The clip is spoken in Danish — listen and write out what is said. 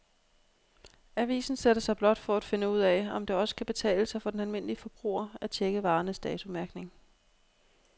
Avisen sætter sig blot for at finde ud af, om det også kan betale sig for den almindelige forbruger at checke varernes datomærkning.